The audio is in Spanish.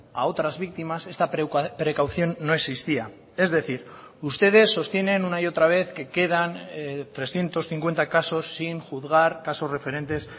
a otras víctimas esta precaución no existía es decir ustedes sostienen una y otra vez que quedan trescientos cincuenta casos sin juzgar casos referentes